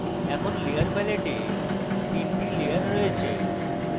এখন layer প্যালেটে 3 the layer রয়েছে